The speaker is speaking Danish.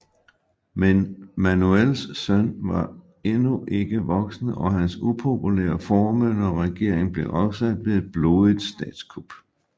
Men Manuels søn var endnu ikke voksen og hans upopulære formynderregering blev afsat ved et blodigt statskup